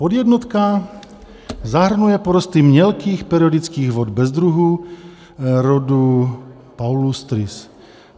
Podjednotka zahrnuje porosty mělkých periodických vod bez druhů rodu palustris.